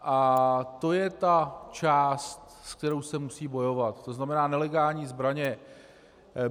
A to je ta část, se kterou se musí bojovat, to znamená nelegální zbraně.